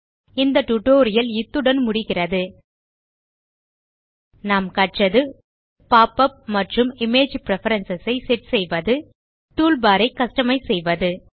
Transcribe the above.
இந்த டியூட்டோரியல் முடிகிறது நாம் கற்றது பாப் உப் மற்றும் இமேஜ் பிரெஃபரன்ஸ் ஐ செட் செய்வது டூல்பார் ஐ கஸ்டமைஸ் செய்வது